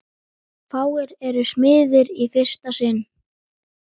Fáir eru smiðir í fyrsta sinn.